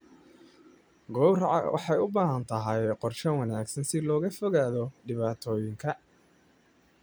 Gowraca waxay u baahan tahay qorshe wanaagsan si looga fogaado dhibaatooyinka.